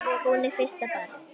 Hún er fyrsta barn.